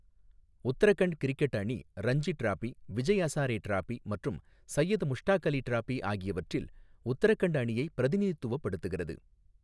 Uttarakhand cricket அணி Ranji trophy, Vijay Hazare trophy மற்றும் Syed Mushtaq Ali trophy ஆகியவற்றில் உத்தரகண்ட் அணியை பிரதிநிதித்துவப்படுத்துகிறது.